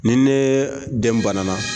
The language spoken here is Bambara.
Ni ne den banana